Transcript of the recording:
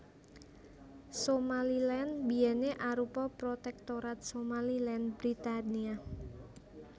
Somaliland biyèné arupa Protektorat Somaliland Britania